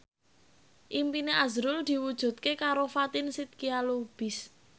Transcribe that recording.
impine azrul diwujudke karo Fatin Shidqia Lubis